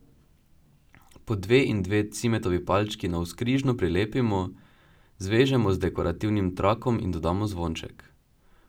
Po dve in dve cimetovi palčki navzkrižno prilepimo, zvežemo z dekorativnim trakom in dodamo zvonček.